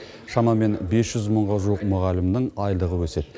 шамамен бес жүз мыңға жуық мұғалімнің айлығы өседі